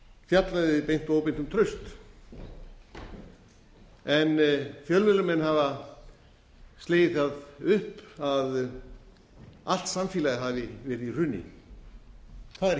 fjallaði beint og óbeint um traust en fjölmiðlamenn hafa slegið því upp að allt samfélagið hafi verið í hruni það er